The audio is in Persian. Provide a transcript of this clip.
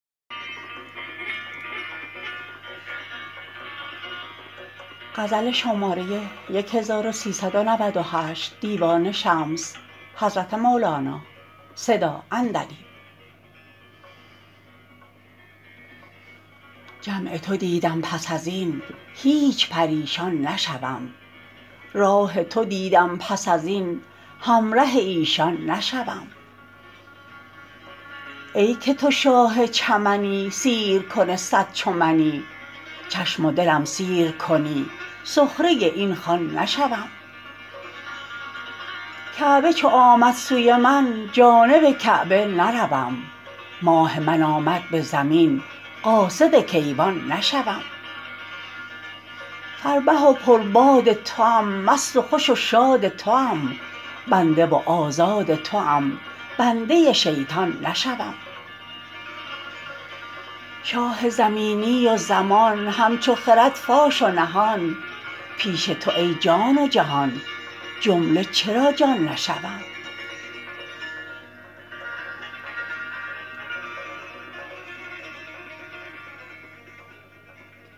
جمع تو دیدم پس از این هیچ پریشان نشوم راه تو دیدم پس از این همره ایشان نشوم ای که تو شاه چمنی سیرکن صد چو منی چشم و دلم سیر کنی سخره این خوان نشوم کعبه چو آمد سوی من جانب کعبه نروم ماه من آمد به زمین قاصد کیوان نشوم فربه و پرباد توام مست و خوش و شاد توام بنده و آزاد توام بنده شیطان نشوم شاه زمینی و زمان همچو خرد فاش و نهان پیش تو ای جان و جهان جمله چرا جان نشوم